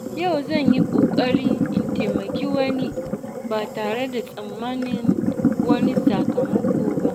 Yau zan yi kokari in taimaki wani ba tare da tsammanin wani sakamako ba.